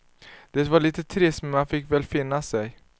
Det var lite trist, men man fick väl finna sig.